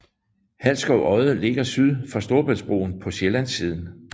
Halsskov Odde ligger syd for Storebæltsbroen på Sjællands siden